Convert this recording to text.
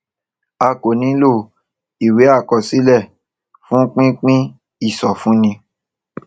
a kò nílò ìwé àkọsílẹ fún pípín ìsọfúnni